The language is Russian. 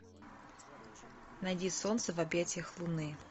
найди солнце в объятиях луны